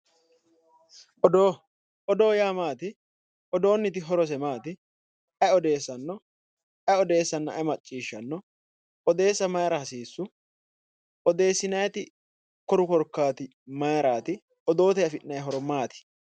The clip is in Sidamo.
Odoo odoo yaa maati odoonniti horose maati ayi odeessanno ayi odeessanna ayi macciishanno odeessa mayira hasiissu odeessinayiti koru korkaati mayiraati odooteyi afi'nayi horo maati